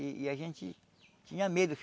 E a gente tinha medo.